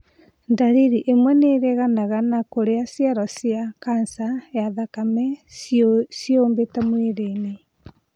Ndariri imwe nĩiringanaga na kũrĩa cero cia kanja ya thakame ciĩyũmbĩte mwĩrĩ-inĩ